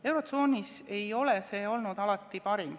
Eurotsoonis ei ole see olnud alati parim.